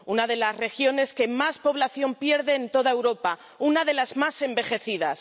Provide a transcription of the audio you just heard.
una de las regiones que más población pierde en toda Europa, una de las más envejecidas.